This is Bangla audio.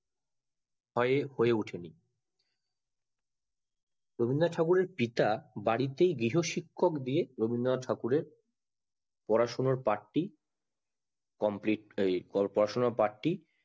ভয়ে হয়ে উঠেনি রবীন্দ্রনাথ ঠাকুর এর পিতা বাড়িতে গৃহ শিক্ষক দিয়েই রবীন্দ্রনাথের ঠাকুরের পড়াশুনোর পাঠটি complete পড়াশুনোর পাঠটি